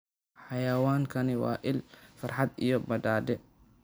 Xayawaankani waa il farxad iyo badhaadhe.